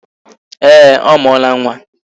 Ee, ọ mụọla nwa